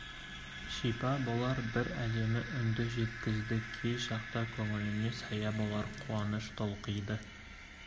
шипа болар бір әдемі үнді жеткізді кей шақта көңіліңе сая болар қуаныш толқиды